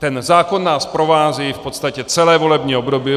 Ten zákon nás provází v podstatě celé volební období.